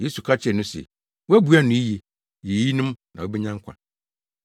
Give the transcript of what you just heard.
Yesu ka kyerɛɛ no se, “Woabua no yiye. Yɛ eyinom na wubenya nkwa.”